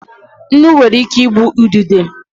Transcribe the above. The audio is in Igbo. Nnu nwere ike igbu earthworm.